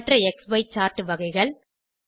மற்ற க்ஸி சார்ட் வகைகள் 3